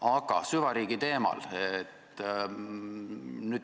Aga nüüd süvariigi teemal.